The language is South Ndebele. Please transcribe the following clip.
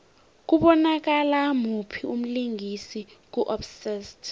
kubonakala muphi umlingisi ku obsessed